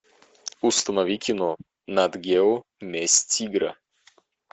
установи кино нат гео месть тигра